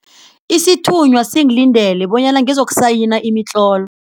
Isithunywa singilindele bonyana ngizokusayina imitlolo.